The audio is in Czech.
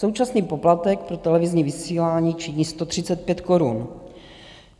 Současný poplatek pro televizní vysílání činí 135 korun.